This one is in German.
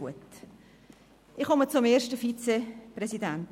Ich komme zum ersten Vizepräsidenten.